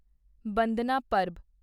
ਬੰਦਨਾ ਪਰਬ